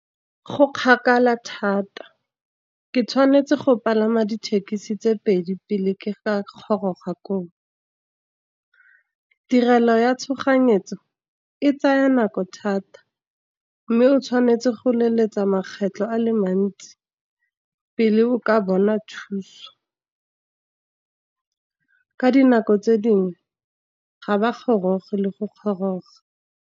Go kgakala thata, ke tshwanetse go palama dithekisi tse pedi pele ke ga goroga koo. Tirelo ya tshoganyetso e tsaya nako thata, mme o tshwanetse go leletsa makgetlho a le mantsi pele o ka bona thuso. Ka dinako tse dingwe ga ba goroge le go goroga.